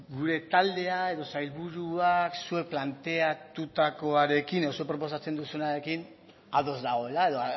gure taldea edo sailburuak zuek planteatutakoarekin edo zuek proposatzen duzuenarekin ados dagoela edo